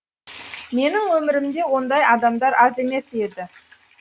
менің өмірімде ондай адамдар аз емес еді